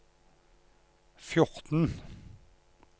fjorten